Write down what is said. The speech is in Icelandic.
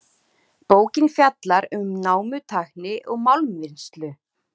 Bókin fjallar um námutækni og málmvinnslu.